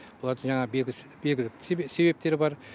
оларда жаңағы белгілі себептер бар